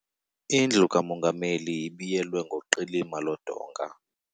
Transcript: Indlu kamongameli ibiyelwe ngoqilima lodonga.